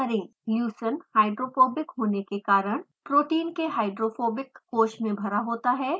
leucine hydrophobic होने के कारण प्रोटीन के hydrophobic कोष में भरा होता है